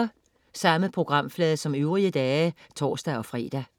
Samme programflade som øvrige dage (tors-fre)